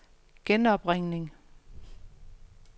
genopringning